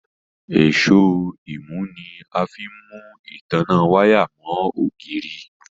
Èṣó imú ní a fín mú ìtanná waya mo ògidì.